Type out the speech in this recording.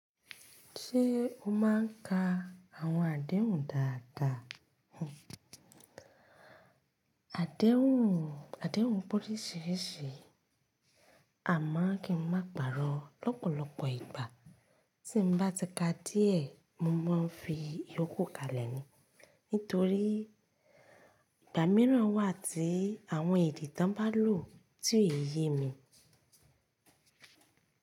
Ṣé o máà ń ka àwọn àdéhùn dáadáa? Àdéhùn, àdéhùn pé oríṣiríṣi. A máà kí n máa pàrọ̀ lọ́pọ̀lọpọ̀ ìgbà. Tí mo bá ti ka díẹ̀, mo máa ń fi ìyókù ká lẹ̀ ni nítorí ìgbà mìíràn wà tí àwọn èdè tí wọn bá lò tí ò yé mi.